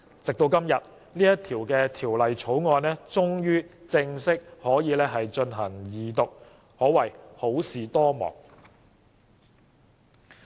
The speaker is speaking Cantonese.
直至今天，《條例草案》終於可以正式進行二讀，可謂好事多磨。